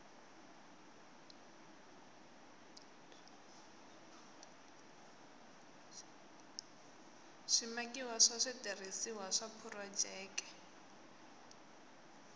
swimakiwa swa switirhisiwa swa phurojeke